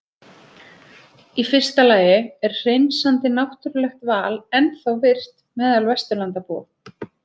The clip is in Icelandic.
Í fyrsta lagi er hreinsandi náttúrulegt val ennþá virkt meðal Vesturlandabúa.